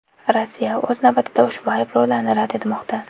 Rossiya, o‘z navbatida, ushbu ayblovlarni rad etmoqda.